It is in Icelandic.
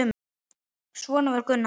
Svona var Gunnar.